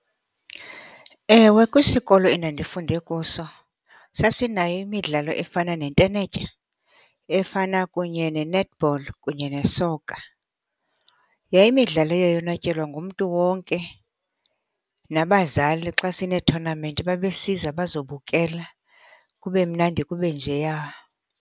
Ewe, kwisikolo endandifunde kuso sasinayo imidlalo efana nentenetya efana kunye ne-netball kunye nesoka. Yayimidlalo eyayonwatyelwa ngumntu wonke. Nabazali xa sineethonamenti babesiza bazobukela, kube mnandi kube njeya.